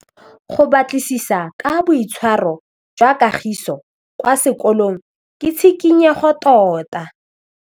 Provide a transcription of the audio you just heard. Go batlisisa ka boitshwaro jwa Kagiso kwa sekolong ke tshikinyêgô tota.